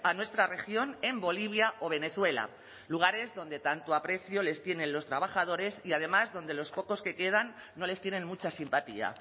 nuestra región en bolivia o venezuela lugares donde tanto aprecio les tienen los trabajadores y además donde los pocos que quedan no les tienen mucha simpatía